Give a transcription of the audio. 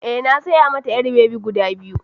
Eh, na saya mata ƴar babi guda biyu